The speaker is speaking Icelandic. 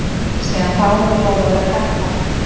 Síðan þá hefur lóðaverð hækkað.